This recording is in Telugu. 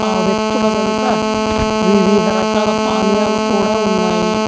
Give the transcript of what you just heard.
ఆ వ్యక్తుల వెనుక వివిధ రకాల పానియాలు కుడా ఉన్నాయి.